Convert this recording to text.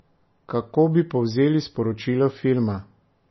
Kako bi povzeli sporočilo filma?